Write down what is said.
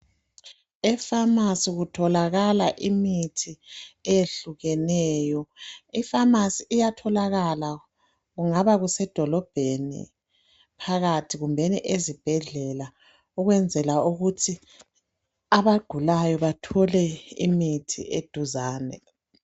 Epharmacy kutholakala imithi eyehlukeneyo. Ipharmacy iyatholakala kungaba kusedolobheni phakathi kumbeni ezibhedlela ukwenzela ukuthi abagulayo bathole imithi eduzane.